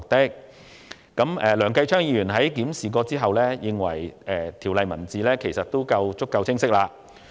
經檢視後，梁繼昌議員認為《條例草案》的字眼已夠清晰。